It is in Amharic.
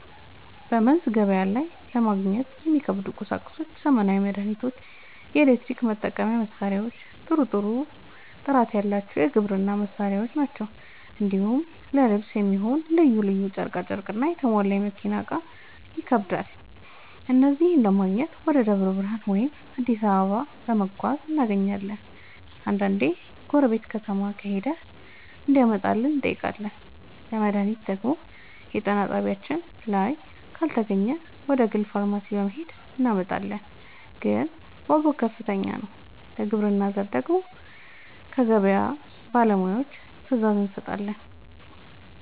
በመንዝ ገበያ ላይ ለማግኘት የሚከብዱ ቁሳቁሶች ዘመናዊ መድሃኒቶች፣ የኤሌክትሪክ መጠቀሚያ መሳሪያዎችና ጥሩ ጥራት ያለው የግብርና ᛢል ናቸው። እንዲሁም ለልብስ የሚሆን ልዩ ልዩ ጨርቅና የተሟላ የመኪና እቃዎች ይከብዳሉ። እነዚህን ለማግኘት ወደ ደብረ ብርሃን ወይም አዲስ አበባ በመጓዝ እናገኛለን፤ አንዳንዴ ጎረቤት ከተማ ከሄደ እንዲያመጣልን እንጠይቃለን። ለመድሃኒት ደግሞ የጤና ጣቢያችን ላይ ካልተገኘ ወደ ግል ፋርማሲ በመሄድ እናመጣለን፤ ግን ዋጋው ከፍተኛ ነው። ለግብርና ዘር ደግሞ ከገበያ ባለሙያዎች ትዕዛዝ እንሰጣለን።